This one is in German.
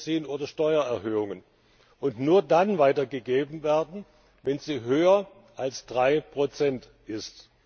Flug Benzin oder Steuererhöhungen und nur dann weitergegeben werden, wenn sie höher als 3nbsp ist.